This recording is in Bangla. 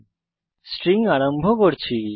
আমরা স্ট্রিং আরম্ভ করতে যাচ্ছি